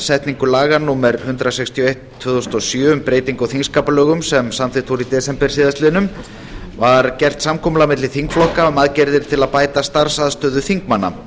setningu laga númer hundrað sextíu og eitt tvö þúsund og sjö um breytingu á þingskapalögum sem samþykkt voru í desember síðastliðnum var gert samkomulag milli þingflokka um aðgerðir til að bæta starfsaðstöðu þingmanna